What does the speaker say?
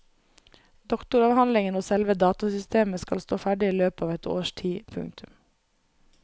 Doktoravhandlingen og selve datasystemet skal stå ferdig i løpet av et års tid. punktum